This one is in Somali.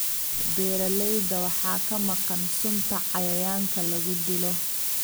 Beeralayda waxaa ka maqan sunta cayayaanka lagu dilo.